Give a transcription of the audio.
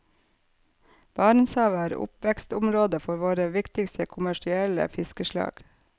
Barentshavet er oppvekstområdet for våre viktigste kommersielle fiskeslag.